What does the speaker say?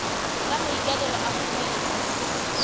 ka maikaelelo a go dira